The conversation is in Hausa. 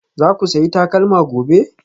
Za ku sayi takalma gobe?